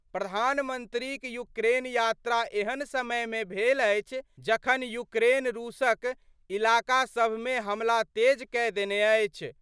प्रधानमंत्रीक यूक्रेन यात्रा एहन समय मे भेल अछि, जखन यूक्रेन रूसक इलाकासम मे हमला तेज कए देने अछि।